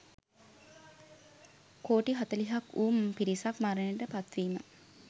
කෝටි හතළිහක් වූ පිරිසක් මරණයට පත්වීම.